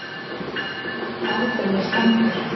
Báturinn er skemmdur